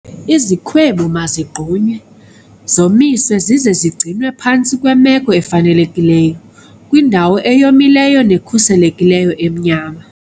Izikhwebu mazigqunywe, zomiswe zize zigcinwe phantsi kweemeko ezifanelekileyo kwindawo eyomileyo nekhuselekileyo emnyama.